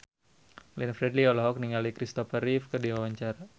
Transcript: Glenn Fredly olohok ningali Kristopher Reeve keur diwawancara